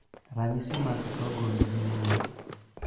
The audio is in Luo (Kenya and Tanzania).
Ranyisi mag tuo gund gin ang'o?